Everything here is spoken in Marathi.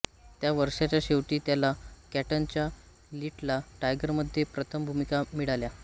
त्या वर्षाच्या शेवटी त्याला कॅंटनच्या लिटल टायगरमध्ये प्रथम भूमिका मिळाल्या